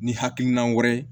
Ni hakilina wɛrɛ ye